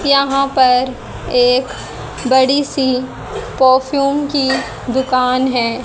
यहां पर एक बड़ी सी परफ्यूम की दुकान है।